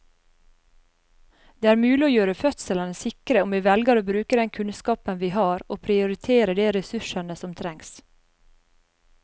Det er mulig å gjøre fødslene sikre om vi velger å bruke den kunnskapen vi har og prioritere de ressursene som trengs.